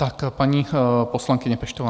Tak paní poslankyně Peštová.